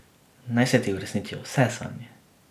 Naj se ti uresničijo vse sanje.